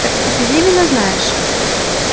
так ты пелевина знаешь